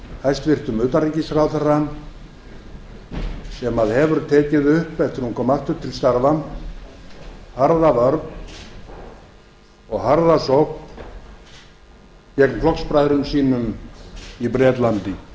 hæstvirtum utanríkisráðherra sem hefur tekið upp eftir að hún kom aftur til starfa harða vörn og harða sókn gegn flokksbræðrum sínum í bretlandi ég